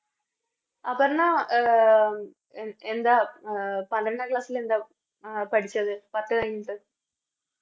അപർണ്ണ അഹ് എന്താ പന്ത്രണ്ടാം Class ലെന്താ പഠിച്ചത് പത്ത് കഴിഞ്ഞിട്ട്